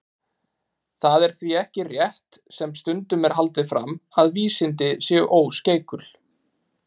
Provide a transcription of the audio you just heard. Það er því ekki rétt, sem stundum er haldið fram, að vísindin séu óskeikul.